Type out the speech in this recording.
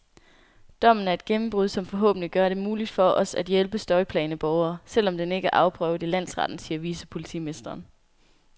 Dommen er et gennembrud, som forhåbentlig gør det muligt for os at hjælpe støjplagede borgere, selv om den ikke er afprøvet i landsretten, siger vicepolitimesteren.